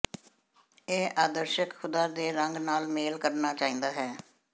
ਇਹ ਆਦਰਸ਼ਕ ਖ਼ੁਦਾ ਦੇ ਰੰਗ ਨਾਲ ਮੇਲ ਕਰਨਾ ਚਾਹੀਦਾ ਹੈ